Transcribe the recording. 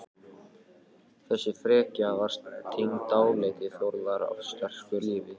Þessi frekja var tengd dálæti Þórðar á sterku lífi.